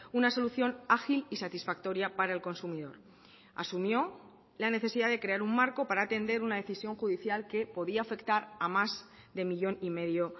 una solución ágil y satisfactoria para el consumidor asumió la necesidad de crear un marco para atender una decisión judicial que podía afectar a más de millón y medio